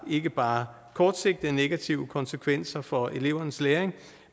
ikke bare har kortsigtede negative konsekvenser for elevernes læring